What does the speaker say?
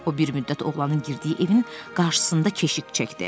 O bir müddət oğlanın girdiyi evin qarşısında keşik çəkdi.